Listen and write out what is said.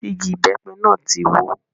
Igi ìbẹ́pẹ náà tí wó.